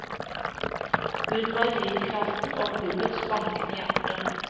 Hun var drivkraften og klubbens bankende hjerte.